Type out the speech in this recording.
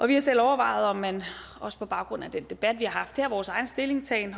vi har selv overvejet om man også på baggrund af den debat vi har haft her vores egen stillingtagen